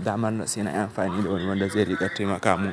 damar da se na amfani da wani wanda zai riƙa taimaka mun.